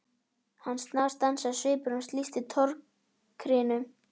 Hann snarstansaði og svipur hans lýsti tortryggni.